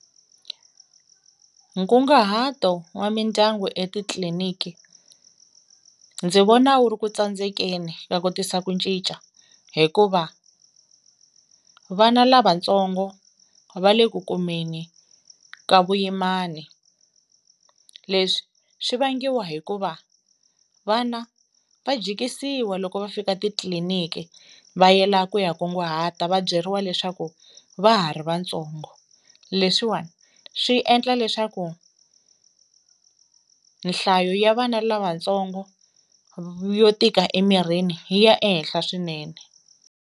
Nkunguhato wa mindyangu etitliliniki ndzi vona wu ri ku tsandzekeni ka ku tisa ku ncica hikuva vana lavatsongo va le ku kumeni ka vuyimani leswi swi vangiwa hikuva vana va jikisiwa loko va fika titliliniki va yela ku ya kunguhata va byeriwa leswaku va ha ri vantsongo leswiwani swi endla leswaku nhlayo ya vana lavatsongo yo tika emirhini yi ya ehenhla swinene.